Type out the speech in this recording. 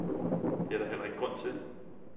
Det er der heller ikke grund til.